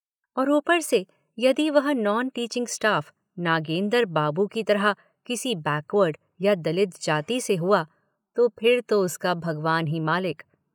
और ऊपर से यदि वह non teaching staff Nagender Babu की तरह किसी बैकवर्ड या दलित जाति से हुआ तो फिर तो उसका भगवान ही मालिक।